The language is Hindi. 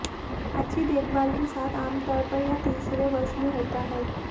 अच्छी देखभाल के साथ आमतौर पर यह तीसरे वर्ष में होता है